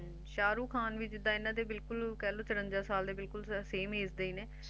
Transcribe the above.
ਸ਼ਾਹਰੁਖ ਖਾਨ ਵੀ ਜਿੱਦਾ ਇੰਨਾ ਦੇ ਬਿਲਕੁਲ ਕਹਿਲੋ ਚੁਰੰਜਾ ਸਾਲ ਬਿਲਕੁਲ Same Age ਦੇ ਨੇ